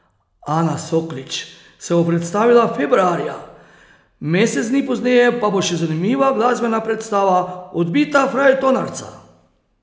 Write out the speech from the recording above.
Ana Soklič se bo predstavila februarja, mesec dni pozneje pa bo še zanimiva glasbena predstava Odbita frajtonarca.